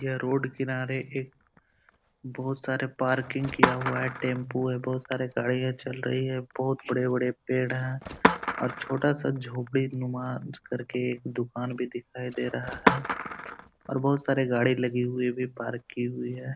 यह रोड किनारे एक बहुत सारे पार्किंग किया हुआ है। टेंपू है। बहुत सारी गाड़ियां चल रही है। बहुत बड़े-बड़े पेड़ है और छोटा-सा झोपड़ीनुमा करके एक दुकान भी दिखाई दे रहा है और बहुत सारे गाड़ी लगी हुई भी है पार्क की हुई है।